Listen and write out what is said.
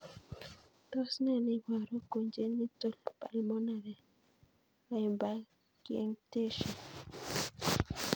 Tos ne neiparu miondop congenital pulmonary lymphangiectasia